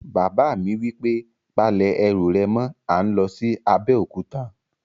Bàbá mi wí pé, "Pa lẹ̀ ẹrù rẹ̀ mọ́! à ń lọ sí Abéòkúta